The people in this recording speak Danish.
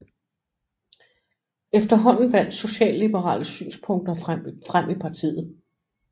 Efterhånden vandt socialliberale synspunkter frem i partiet